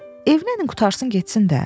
Evlənin qurtarsın getsin də.